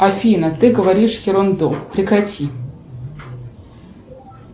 афина ты говоришь ерунду прекрати